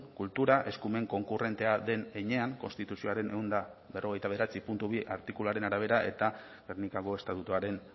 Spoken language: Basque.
kultura eskumen konkurrentea den heinean konstituzioaren ehun eta berrogeita bederatzi puntu bi artikuluaren arabera eta gernikako estatutuaren